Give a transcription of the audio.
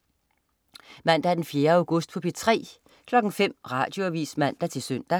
Mandag den 4. august - P3: